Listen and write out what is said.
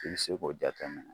I bɛ se k'o jate minɛ.